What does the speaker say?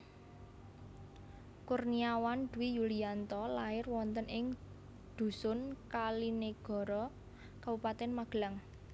Kurniawan Dwi Yulianto lair wonten ing dhusun Kalinegoro Kabupatèn Magelang